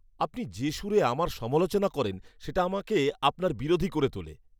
আপনি যে সুরে আমার সমালোচনা করেন সেটা আমাকে আপনার বিরোধী করে তোলে!